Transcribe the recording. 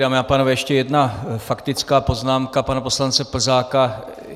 Dámy a pánové, ještě jedna faktická poznámka, pana poslance Plzáka.